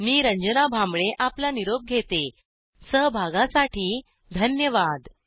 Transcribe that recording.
मी रंजना भांबळे आपला निरोप घेते सहभागासाठी धन्यवाद